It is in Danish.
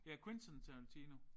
Ja Quentin Tarantino